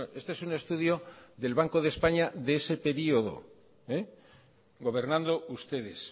este es un estudio del banco de españa de ese período gobernando ustedes